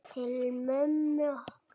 Til mömmu okkar.